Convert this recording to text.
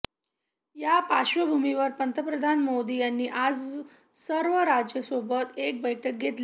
या पार्श्वभूमीवर पंतप्रधान नरेंद्र मोदी यांनी आज सर्व राज्यांसोबत एक बैठक घेतली